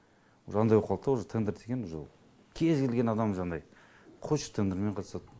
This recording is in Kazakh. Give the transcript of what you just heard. уже андай боп қалды да уже тендер деген уже кез келген адам жаңағыдай қойшы тендермен қатысады